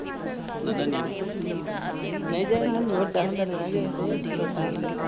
ਨਹੀਂ ਵੱਡਾ ਹੁੰਦਾ ਮੈਂ ਕਿਹਾ ਜੇ ਤੇ ਛੋੱਟਾ ਨਾ।